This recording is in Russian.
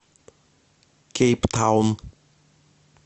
кейптаун